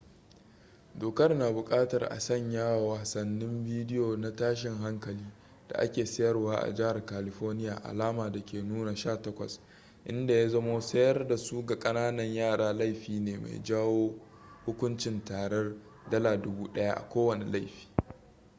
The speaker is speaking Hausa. dokar na bukatar a sanya wa wasannin bidiyo na tashin hankali da ake sayarwa a jihar california alama da ke nuna 18 inda ya zamo sayar da su ga kananan yara laifi ne mai jawo hukuncin tarar $1000 a kowane laifi